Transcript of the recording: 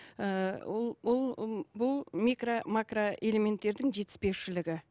ыыы ол ол бұл микро макро элементтердің жетіспеушілігі